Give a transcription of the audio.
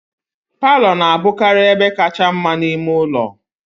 Palọ na-abụkarị ebe kacha mma n'ime ụlọ